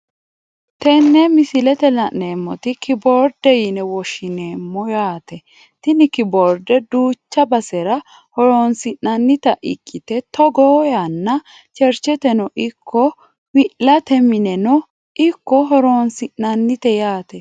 Tene misilete la`nemota kiboorde yine woshineemo yaate tini kiboorde duucha basera horonsinanita ikite togo yaano chercheteno ikko wi`late mineno ikko horonsinanite yaate.